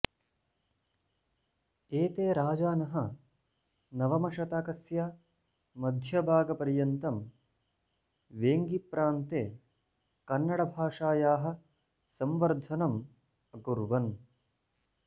एते राजानः नवमशतकस्य मध्यभागपर्यन्तं वेङ्गिप्रान्ते कन्नडभाषायाः संवर्धनम् अकुर्वन्